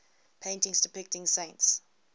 paintings depicting saints